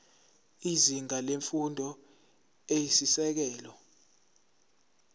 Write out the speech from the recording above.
izinga lemfundo eyisisekelo